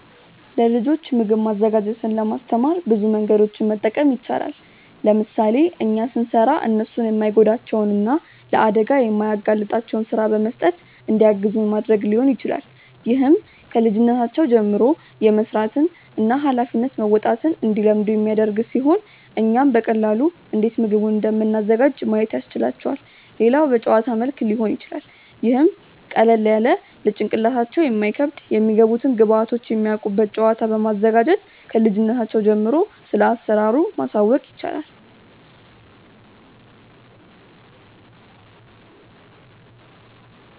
ለልጆች ምግብ ማዘጋጀትን ለማስተማር ብዙ መንገዶችን መጠቀም ይቻላል። ለምሳሌ እኛ ስንሰራ እነርሱን የማይጎዳቸውን እና ለአደጋ የማያጋልጣቸውን ስራ በመስጠት እንዲያግዙን ማድረግ ሊሆን ይችላል። ይህም ከልጅነታቸው ጀምሮ የመስራትን እና ሃላፊነት መወጣትን እንዲለምዱ የሚያደርግ ሲሆን እኛም በቀላሉ እንዴት ምግቡን እንደምናዘጋጅ ማየት ያስችላቸዋል። ሌላው በጨዋታ መልክ ሊሆን ይችላል ይህም ቀለል ያለ ለጭንቅላታቸው የማይከብድ የሚገቡትን ግብዐቶች የሚያውቁበት ጨዋታ በማዘጋጀት ክልጅነታቸው ጀምሮ ስለአሰራሩ ማሳወቅ ይቻላል።